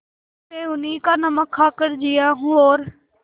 मैं उन्हीं का नमक खाकर जिया हूँ और